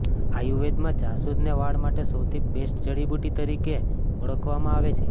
આયુર્વેદમાં જાસુદને વાળ માટે સૌથી બેસ્ટ જડીબુટ્ટી તરીકે ઓળખવામાં આવે છે